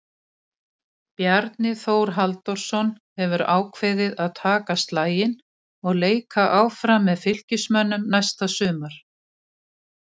Bjarni Þórður Halldórsson hefur ákveðið að taka slaginn og leika áfram með Fylkismönnum næsta sumar.